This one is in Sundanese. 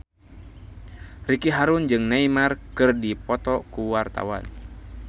Ricky Harun jeung Neymar keur dipoto ku wartawan